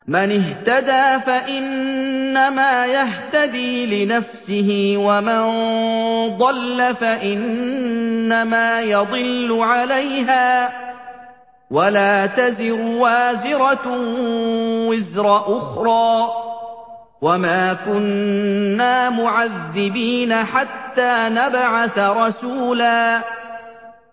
مَّنِ اهْتَدَىٰ فَإِنَّمَا يَهْتَدِي لِنَفْسِهِ ۖ وَمَن ضَلَّ فَإِنَّمَا يَضِلُّ عَلَيْهَا ۚ وَلَا تَزِرُ وَازِرَةٌ وِزْرَ أُخْرَىٰ ۗ وَمَا كُنَّا مُعَذِّبِينَ حَتَّىٰ نَبْعَثَ رَسُولًا